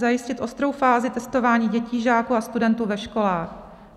Zajistit ostrou fázi testování dětí, žáků a studentů ve školách.